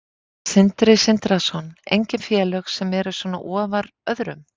Sindri Sindrason: Engin félög sem eru svona ofar öðrum?